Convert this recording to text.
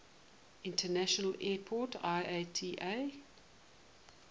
international airport iata